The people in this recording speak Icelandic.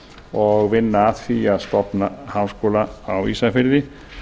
og vinna að því að stofna háskóla á ísafirði